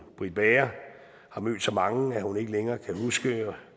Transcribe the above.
britt bager har mødt så mange at hun ikke længere kan huske